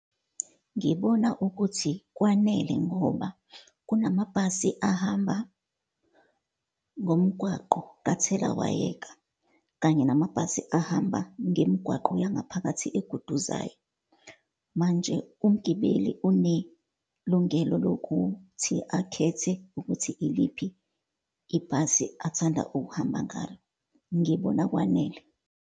Ngibona ukuthi kwanele, ngoba kunamabhasi ahamba ngomgwaqo kathelawayeka, kanye namabhasi ahamba ngemigwaqo yangaphakathi eguduzayo. Manje umgibeli unelungelo lokhuthi akhethe ukuthi iliphi ibhasi athanda ukuhamba ngalo. Ngibona kwanele.